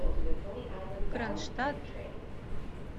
кронштадт